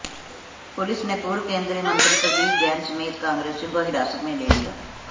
police ने पूर्व केंद्रीय मंत्री प्रदीप जैन समेत कांग्रेसियों को हिरासत में ले लिया